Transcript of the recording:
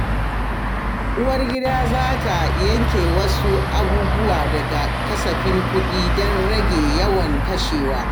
Uwargida za ta yanke wasu abubuwa daga kasafin kuɗi don rage yawan kashewa.